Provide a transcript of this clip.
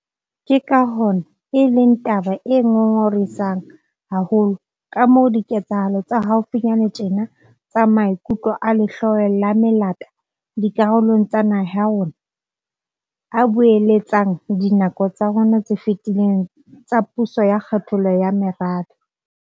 Ke ka hona e leng taba e ngongorehisang haholo kamoo diketsahalo tsa haufinyane tjena tsa maikutlo a lehloyo la melata dikarolong tsa naha ya rona a boeletsang dinako tsa rona tse fetileng tsa puso ya kgethollo ya merabe.